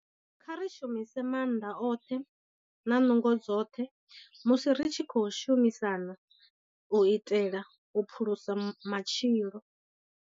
Kha ri shumise maanḓa oṱhe na nungo dzoṱhe musi ri tshi khou shumisana u itela u phulusa matshilo.